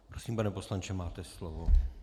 Prosím, pane poslanče, máte slovo.